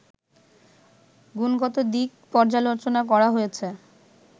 গুণগত দিক পর্যালোচনা করা হয়েছে